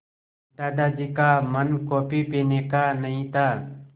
दादाजी का मन कॉफ़ी पीने का नहीं था